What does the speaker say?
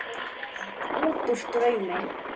Útúr draumi.